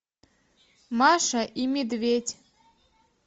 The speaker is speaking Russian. маша и медведь